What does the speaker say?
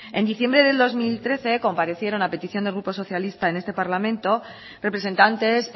en diciembre del dos mil trece comparecieron a petición del grupo socialista en este parlamento representantes